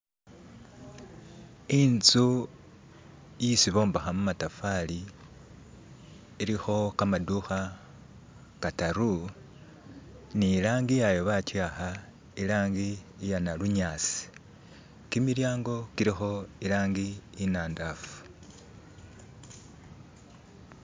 intsu isi bombaha mumatafali iliho kamaduha kataru nilangiyayo bachiyaha ilangi iya nalunyasi kimilyango kiliho ilangi inandafu